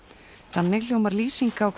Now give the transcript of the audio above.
þannig hljómar lýsing á